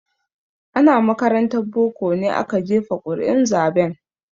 Ana makarantar boko ne aka jefa ƙuri'un zaben.